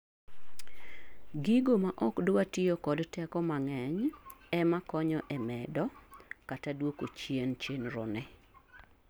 gigo maok dwa tiyo kod teko mang'eny ema konyo e medo kata duoko chien chenro ni